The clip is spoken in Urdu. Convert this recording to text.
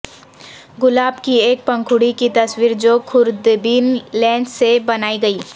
گلاب کی ایک پنکھڑی کی تصویر جو خوردبین لینس سے بنائی گئی